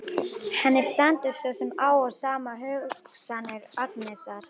Henni stendur svo sem á sama um hugsanir Agnesar.